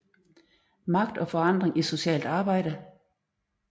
Magt og forandring i socialt arbejde